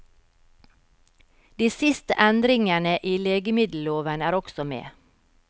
De siste endringene i legemiddelloven er også med.